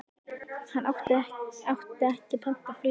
Hann átti ekki pantað flug til